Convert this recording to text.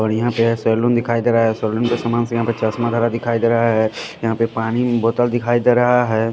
और यहाँ पे सैलून दिखाई दे रहा है सैलून के समान से यहाँ पे चश्मा धरा दिखाई दे रहा है यहाँ पे पानी बोतल अम्म दिखाई दे रहा है।